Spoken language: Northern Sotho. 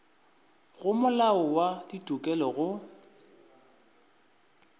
go molao wa ditokelo go